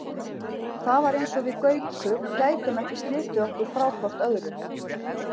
Það var eins og við Gaukur gætum ekki slitið okkur frá hvort öðru.